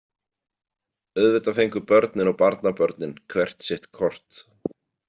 Auðvitað fengu börnin og barnabörnin hvert sitt kort.